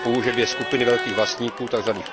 Chápu, že dvě skupiny velkých vlastníků, tzv.